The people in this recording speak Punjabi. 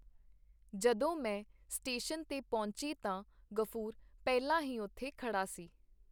ਜਦੋਂ ਮੈਂ ਸਟੇਸ਼ਨ ਤੇ ਪਹੁੰਚੀ ਤਾਂ ਗ਼ਫੂਰ ਪਹਿਲਾਂ ਹੀ ਉੱਥੇ ਖੜਾ ਸੀ.